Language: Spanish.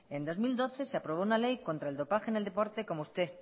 en dos mil doce se aprobó una ley contra el dopaje en el deporte como usted